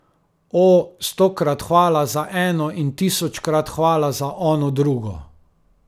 O, stokrat hvala za eno in tisočkrat hvala za ono drugo.